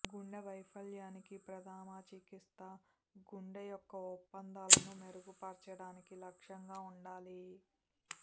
గుండె వైఫల్యానికి ప్రథమ చికిత్స గుండె యొక్క ఒప్పందాలను మెరుగుపర్చడానికి లక్ష్యంగా ఉండాలి